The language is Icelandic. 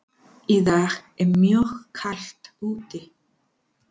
Í dag er mjög kalt úti.